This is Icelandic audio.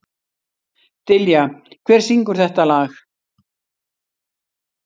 Dilja, hver syngur þetta lag?